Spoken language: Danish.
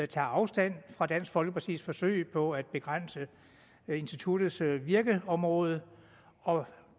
tager afstand fra dansk folkepartis forsøg på at begrænse instituttets virkeområde